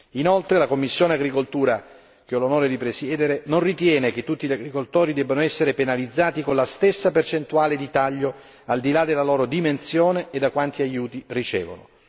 Inoltre, la commissione agricoltura che ho l'onore di presiedere, non ritiene che tutti gli agricoltori debbano essere penalizzati con la stessa percentuale di taglio al di là della loro dimensione e da quanti aiuti ricevono.